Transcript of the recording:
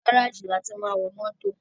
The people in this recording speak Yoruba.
Gáràjì ni a tí máa ń wọ mótò.